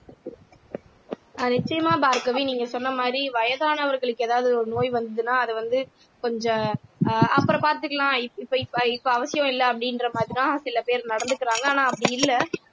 ஆஹ் நிச்சயமா பார்கவி நீங்க சொன்ன மாதிரி வயதானவர்களுக்கு ஏதாவது ஒரு நோய் வந்ததுன்னா அதை வந்து கொஞ்சம் அஹ் அப்புறம் பாத்துக்கலாம் இப்ப இப்ப இப்ப அவசியம் இல்லை அப்படின்ற மாதிரிதான் சில பேர் நடந்துக்கிறாங்க ஆனா அப்படி இல்லை